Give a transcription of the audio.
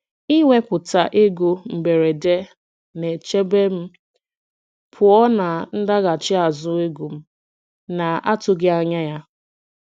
Iwepụta ego mberede na-echebe m pụọ na ndaghachi azụ ego m na-atụghị anya ya.